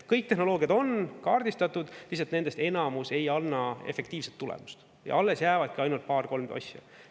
Kõik tehnoloogiad on kaardistatud, lihtsalt nendest enamus ei anna efektiivset tulemust ja alles jäävadki ainult paar-kolm asja.